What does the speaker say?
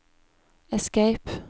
escape